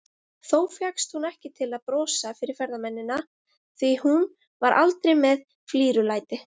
Þó fékkst hún ekki til að brosa fyrir ferðamennina, því hún var aldrei með flírulæti.